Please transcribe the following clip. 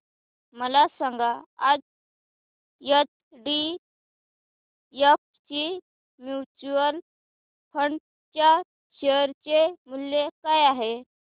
मला सांगा आज एचडीएफसी म्यूचुअल फंड च्या शेअर चे मूल्य काय आहे